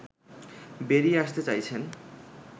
বেরিয়ে আসতে চাইছেন